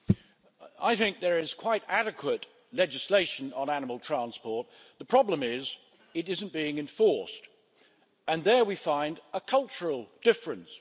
Mr President, there is quite adequate legislation on animal transport the problem is that it isn't being enforced, and here we find a cultural difference.